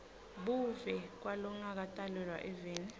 buve kwalongakatalelwa eveni